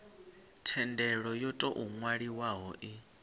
thendelo yo tou nwalwaho i